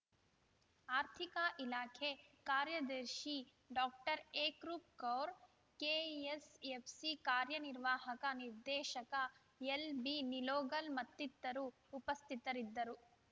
ಆರ್ಥಿಕ ಇಲಾಖೆ ಕಾರ್ಯದರ್ಶಿ ಡಾಕ್ಟರ್ ಏಕ್‌ರೂಪ್‌ ಕೌರ್‌ ಕೆಎಸ್‌ಎಫ್‌ಸಿ ಕಾರ್ಯ ನಿರ್ವಾಹಕ ನಿರ್ದೇಶಕ ಎಲ್‌ಬಿನಿಲೋಗಲ್‌ ಮತ್ತಿತರರು ಉಪಸ್ಥಿತರಿದ್ದರು